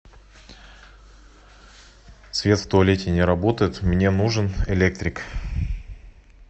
свет в туалете не работает мне нужен электрик